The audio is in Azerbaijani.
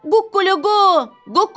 Ququluqu, ququluqu!